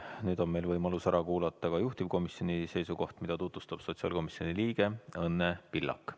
Nüüd on meil võimalus ära kuulata ka juhtivkomisjoni seisukoht, mida tutvustab sotsiaalkomisjoni liige Õnne Pillak.